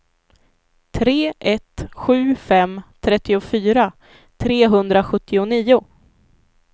tre ett sju fem trettiofyra trehundrasjuttionio